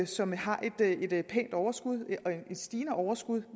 som har et pænt overskud et stigende overskud